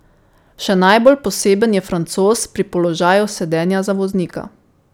Še najbolj poseben je francoz pri položaju sedenja za voznika.